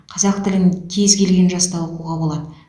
қазақ тілін кез келген жаста оқуға болады